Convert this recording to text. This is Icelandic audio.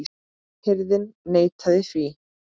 Hirðin neitaði því.